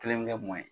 Kelen bɛ kɛ mɔ ye